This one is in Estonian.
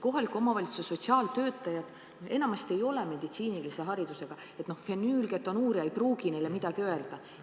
Kohalike omavalitsuste sotsiaaltöötajad enamasti ei ole meditsiinilise haridusega, sõna "fenüülketonuuria" ei pruugi neile midagi öelda.